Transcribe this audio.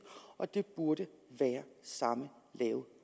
og det burde være samme lave